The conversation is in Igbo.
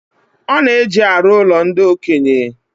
Ọ na-eji arụ ụlo ndi okenye